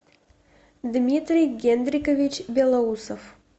дмитрий генрикович белоусов